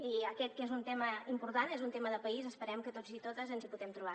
i aquest que és un tema important és un tema de país esperem que tots i totes ens hi puguem trobar